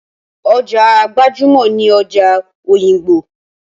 Ọjà gbajúmọ̀ ni ọjà òyìngbò.